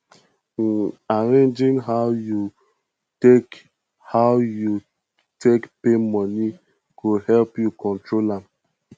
um arranging how yu take how yu take pay moni go help yu control am